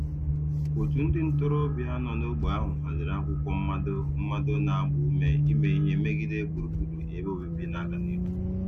Otu ndị ntorobịa nọ n'ógbè ahụ haziri akwụkwọ mmado mmado na-agba ume ime ihe megide gburugburu ebe obibi na-aga n'ihu.